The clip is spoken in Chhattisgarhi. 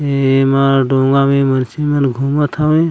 एमा डोंगा में मछली मन घुमत हे ।